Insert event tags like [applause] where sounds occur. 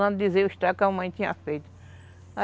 Quando [unintelligible] o estrago que a mamãe tinha feito.